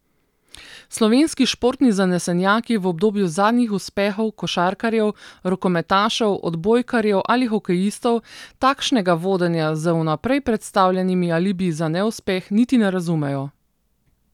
Slovenski športni zanesenjaki v obdobju zadnjih uspehov košarkarjev, rokometašev, odbojkarjev ali hokejistov, takšnega vodenja z vnaprej predstavljenimi alibiji za neuspeh niti ne razumejo.